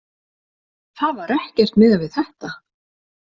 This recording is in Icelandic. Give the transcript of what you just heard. Það var ekkert miðað við þetta